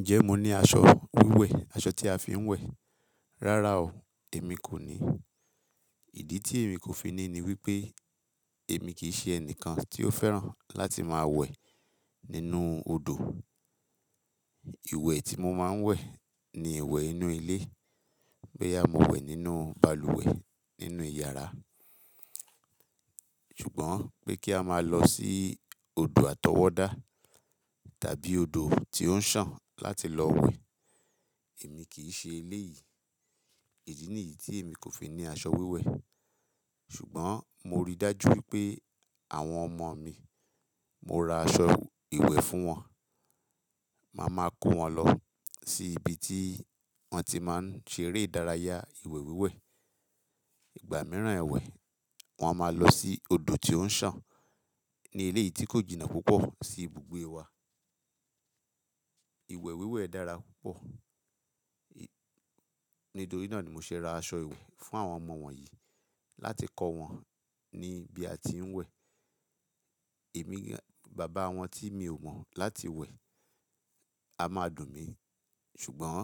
Ǹjẹ́ mo ní aṣọ wíwẹ̀, aṣọ tí a fi ń wẹ̀? Rárá o, èmi kò ní. Ìdí tí èmi kò fi ní ni wípé èmi kì í ṣe ẹnìkan tí ó fẹ́ràn láti máa wẹ̀ nínú odò. Iwẹ̀ tí mo máa ń wẹ̀ ni ìwẹ̀ inú ilé, boyà mo wẹ̀ nínú balùwẹ̀ nínú ìyàrá. Ṣùgbọ́n pé kí a máa lọ sí odò àtọwọ́dá tàbí odò tí ó ń sàn láti lọ wẹ̀, èmi kì í ṣe eléyìí. Èyí nìyí tí èmi kò fi ní aṣọ wíwẹ̀. Ṣùgbọ́n mo rí dájú wípé àwọn ọmọ mi, mo ra aṣọ ìwẹ̀ fún wọn. Máa ma kó wọn lọ sí ibi tí wọ́n ti máa ń ṣe eré ìdárayá ìwẹ̀ wíwẹ̀. Ìgbà mìíràn ẹ wẹ̀, wọn máa lọ sí odò tí ó ń sàn ní ilé yìí tí kò jìnnà púpọ̀ sí ibùgbé wa. Ìwẹ̀ wíwẹ̀ dára púpọ̀. Nídorí náà ni mo ṣe ra aṣọ ìwẹ̀ fún àwọn ọmọ wọ̀nyí láti kọ́ wọn ní bí a ti ń wẹ̀. Èmi, bàbá wọn tí mi ò mọ̀ láti wẹ̀, a máa dùn mí. Ṣùgbọ́n